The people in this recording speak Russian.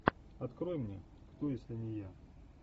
открой мне кто если не я